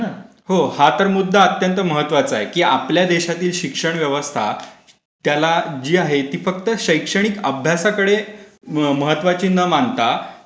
हो, हा तर मुद्दा अत्यंत महत्वाचा आहे. की आपल्या देशातील शिक्षण व्यवस्था त्याला जी आहे ती फक्त शैक्षणिक अभ्यासाकडे महत्वाची न मानता,